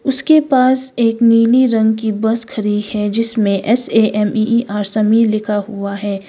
उसके पास एक नीली रंग की बस खड़ी है जिसमें S A M E E R Sameer लिखा हुआ है।